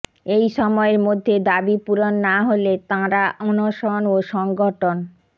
এই সময়ের মধ্যে দাবি পূরণ না হলে তাঁরা অনশন ও সংগঠন